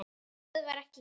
Það stöðvar ekki Gerði.